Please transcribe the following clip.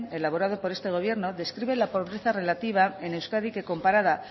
elaborado por este gobierno describe la pobreza relativa en euskadi que comparada